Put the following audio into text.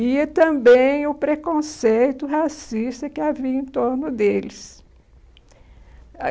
e também o preconceito racista que havia em torno deles.